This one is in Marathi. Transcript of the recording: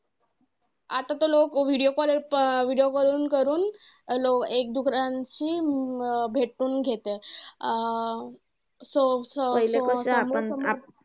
आता तर लोकं video call video calling करून लो एक दुसऱ्यांशी भेटून घेतात. Um so so so